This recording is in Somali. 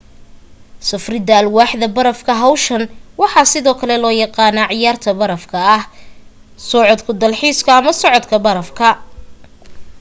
safrida alwaaxa barafka hawshan waxaa sidoo kale loo yaqaanaa ciyaraha baraf ku socodka dalxiiska ama socodka barafka